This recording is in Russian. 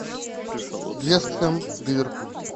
вест хэм ливерпуль